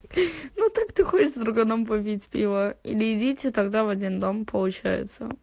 ну так ты ходишь с друганом попить пива или идите тогда в один дом получается